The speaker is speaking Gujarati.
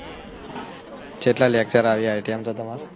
કેટલા lecture આવિયા હે ત્યાં બધા